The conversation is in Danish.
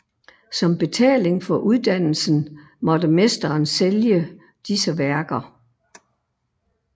Som betaling for uddannelsen måtte mesteren sælge disse værker